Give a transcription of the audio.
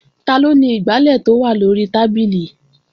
Taló ni igbálẹ̀ tó wà lóri tábìlì?